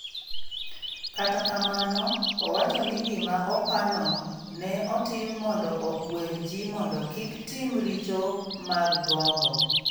Kata kamano, owacho ni gima opa no ne otim mondo okwer ji mondo kik tim richo mag gombo.